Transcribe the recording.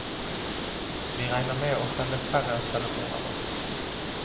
Vi regner med å selge færre telefoner nå.